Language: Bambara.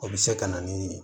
O bɛ se ka na ni